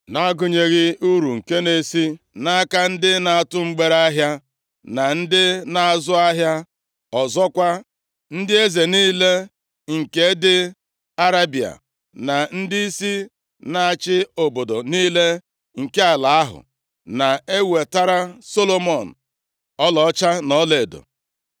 na-agụnyeghị uru nke na-esi nʼaka ndị na-atụ mgbereahịa na ndị na-azụ ahịa. Ọzọkwa, ndị eze niile nke dị Arebịa na ndịisi na-achị obodo niile nke ala ahụ, na-enwetara Solomọn ọlaọcha na ọlaedo.